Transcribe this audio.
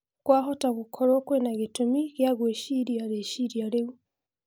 Kwahota gũkoruo kũĩna gĩtũmi gĩa gweciria reciria rĩu